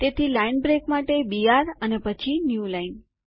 તેથી line break માટે ltબીઆરgt અને પછી ન્યુ લાઈન